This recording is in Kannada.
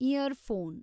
in-ear phone